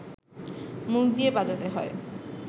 মুখ দিয়ে বাজাতে হয়